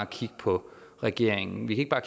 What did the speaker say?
kigge på regeringen vi ikke bare